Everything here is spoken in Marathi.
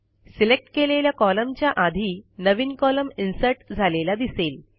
सिलेक्ट केलेल्या कॉलमच्या आधी नवीन कॉलम इन्सर्ट झालेला दिसेल